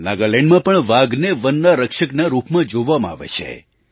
નાગાલેન્ડમાં પણ વાઘને વનના રક્ષકના રૂપમાં જોવામાં આવે છે